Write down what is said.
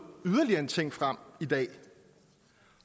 yderligere en ting frem i dag